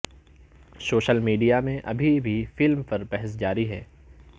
social media میں ابھی بھی فلم پر بحث جاری ہے